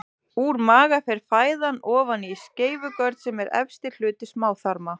Úr maga fer fæðan ofan í skeifugörn sem er efsti hluti smáþarma.